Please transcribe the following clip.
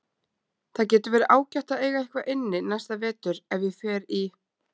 Það getur verið ágætt að eiga eitthvað inni næsta vetur ef ég fer í